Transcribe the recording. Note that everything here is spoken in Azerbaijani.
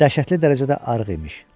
Dəhşətli dərəcədə arıq imiş.